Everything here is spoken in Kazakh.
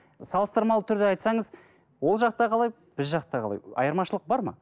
салыстырмалы түрде айтсаңыз ол жақта қалай біз жақта қалай айырмашылық бар ма